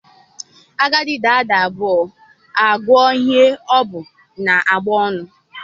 Agadi daa nda abụọ, a guo ihe o bu n’abọ ọnụ